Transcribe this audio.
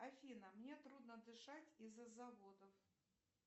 афина мне трудно дышать из за заводов